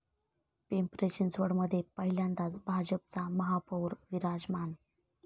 पिंपरी चिंचवडमध्ये पहिल्यांदाच भाजपचा महापौर विराजमान